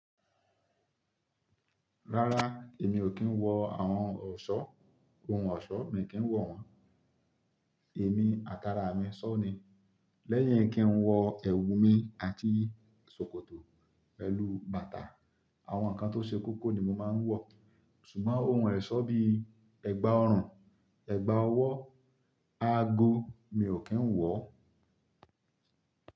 Rárá, èmi ò kí ń wọ àwọn ọ̀ṣọ́, ohun ọ̀ṣọ́ mi kì ń wọ̀ wọ́n. Èmi, àtàrà mi ṣọ́ ni. Lẹ́yìn kí ń wọ ẹ̀wù mi àti ṣòkòtò, pẹlú bàtà, àwọn nǹkan tó ṣe koko ni mo máa ń wọ̀. Ṣùgbọ́n ohun ẹ̀ṣọ́ bí ẹgba ọrùn, ẹgba ọwọ́, ago mi ò kí ń wọ̀.